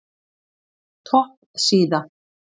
Topp síða